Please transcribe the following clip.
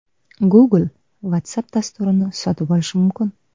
Google Whatsapp dasturini sotib olishi mumkin.